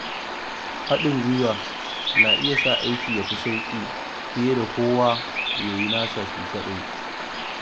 Haɗin gwiwa na iya sa aiki ya fi sauƙi fiye da kowa ya yi nasa shi kaɗai.